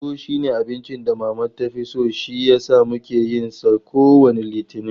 Tuwo shi ne abincin da Mama ta fi so shi yasa muke yin sa kowane Litini.